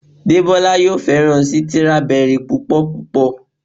Debola yóò féràn Sítírábẹrì púpò púpọ̀.